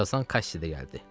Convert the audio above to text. Bir azdan Kaşşi də gəldi.